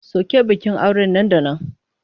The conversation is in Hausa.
Soke bikin auren nan da nan!